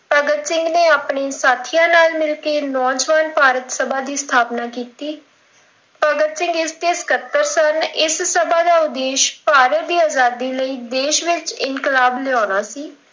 ਭਗਤ ਸਿੰਘ ਨੇ ਆਪਣੇ ਸਾਥੀਆਂ ਨਾਲ ਮਿਲ ਕਿ ਨੌਜਵਾਨ ਭਾਰਤ ਸਭਾ ਦੀ ਸਥਾਪਨਾ ਕੀਤੀ, ਭਗਤ ਸਿੰਘ ਇਸ ਦੇ ਸਕੱਤਰ ਸਨ ਇਸ ਸਭਾ ਦਾ ਉਦੇਸ਼ ਭਾਰਤ ਦੀ ਆਜ਼ਾਦੀ ਲਈ ਦੇਸ਼ ਵਿੱਚ ਇਨਕਲਾਬ ਲਿਆਉਣਾ ਸੀ।